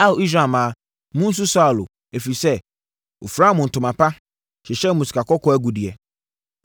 “Ao, Israel mmaa, monsu Saulo, ɛfiri sɛ, ɔfiraa mo ntoma pa, hyehyɛɛ mo sikakɔkɔɔ agudeɛ.